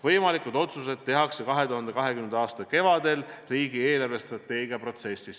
Võimalikud otsused tehakse 2020. aasta kevadel riigi eelarvestrateegia kavandamise protsessis.